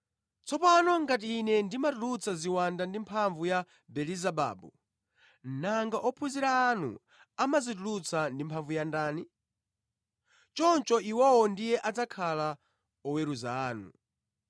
Tsopano ngati Ine ndimatulutsa ziwanda ndi mphamvu ya Belezebabu, nanga ophunzira anu amazitulutsa ndi mphamvu ya ndani? Choncho, iwowo ndiye adzakhala oweruza anu.